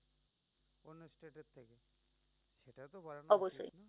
অবশ্যই